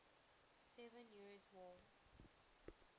seven years war